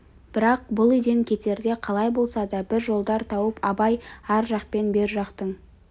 бірақ бұл үйден кетерде қалай болса да бір жолдар тауып абай ар жақ пен бер жақтың